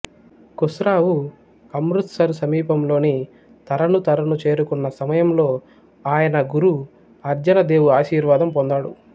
ఖుస్రావు అమృత్సరు సమీపంలోని తరణు తరను చేరుకున్నసమయంలో ఆయన గురు అర్జన దేవు ఆశీర్వాదం పొందాడు